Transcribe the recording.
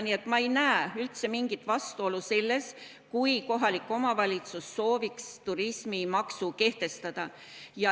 Nii et ma ei näe üldse mingit vastuolu selles, kui kohalik omavalitsus sooviks turismimaksu kehtestada.